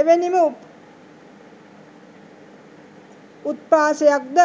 එවැනිම උත්ප්‍රාසයක්ද